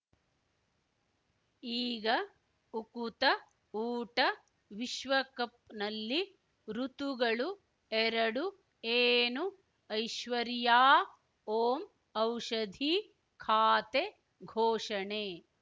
ಈಗ ಉಕುತ ಊಟ ವಿಶ್ವಕಪ್‌ನಲ್ಲಿ ಋತುಗಳು ಎರಡು ಏನು ಐಶ್ವರ್ಯಾ ಓಂ ಔಷಧಿ ಖಾತೆ ಘೋಷಣೆ